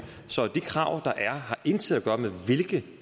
så de krav der er har intet at gøre med hvilke